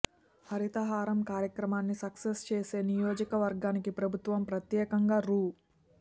హరితహారం కార్యక్రమాన్ని సక్సెస్ చేసే నియోజక వర్గానికి ప్రభుత్వం ప్రత్యేకంగా రూ